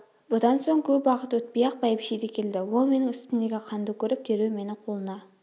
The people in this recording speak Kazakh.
бұдан соң көп уақыт өтпей-ақ бәйбіше де келді ол менің үстімдегі қанды көріп дереу мені қолына